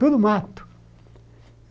Tudo mato.